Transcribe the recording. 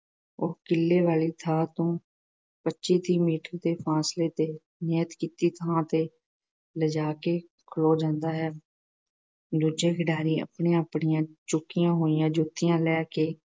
ਉਹ ਕਿੱਲੇ ਵਾਲੀ ਥਾਂ ਤੋਂ ਪੱਚੀ-ਤੀਹ ਮੀਟਰ ਦੇ ਫ਼ਾਸਲੇ ਤੇ ਨਿਯਤ ਕੀਤੀ ਥਾਂ ਤੇ ਲੈ ਜਾ ਕੇ ਖਲੋ ਜਾਂਦਾ ਹੈ। ਦੂਜੇ ਖਿਡਾਰੀ ਆਪਣੀਆਂ-ਆਪਣੀਆਂ ਚੁੱਕੀਆਂ ਹੋਈਆਂ ਜੁੱਤੀਆਂ ਲੈ ਕੇ